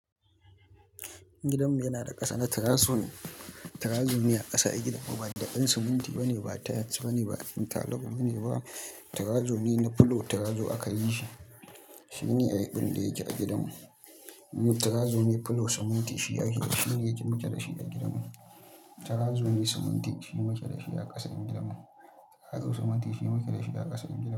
Gidanmu yana da ƙasa na terrazzo ne, terrazzo a ƙasa a gidan mu ba daɓen siminti ba ne, ba tiles ba ne, ba interlock ba ne ba, terrazzo ne na floor terrazzo akayi shi. Shine abin da yake a gidanmu. Terrazo ne floor siminti shi ake shine muke dashi a gidanmu. Tirezomi siminti shine makilashi a ƙasan gidanmu.